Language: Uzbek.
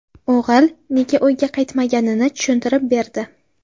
O‘g‘il nega uyga qaytmaganini tushuntirib berdi.